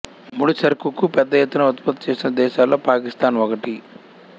ముడిసరుకు పెద్ద ఎత్తున ఉత్పత్తి చేస్తున్న దేశాలలో పాకిస్థాన్ ఒకటి